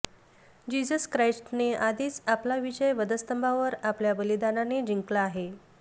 Jesus ख्राईस्टने आधीच आपला विजय वधस्तंभावर आपल्या बलिदानाने जिंकला आहे